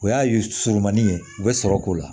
O y'a ye surumanni ye u bɛ sɔrɔ k'o la